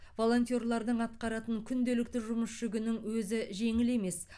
волонтерлардың атқаратын күнделікті жұмыс жүгінің өзі жеңіл емес